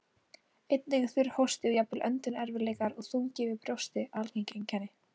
Einnig er þurr hósti og jafnvel öndunarerfiðleikar og þungi yfir brjósti algeng einkenni.